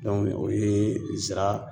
o ye zira